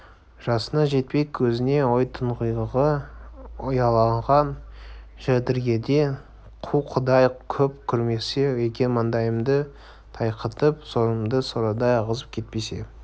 жасына жетпей көзіне ой тұңғиығы ұялаған жәдігерді қу құдай көп көрмесе екен маңдайымды тайқитып сорымды сорадай ағызып кетпесе